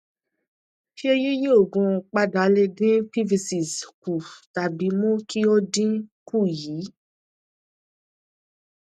ṣé yíyí oogun padà lè dín pvc s kù tàbí mú kí ó dínkù yyyyyyyy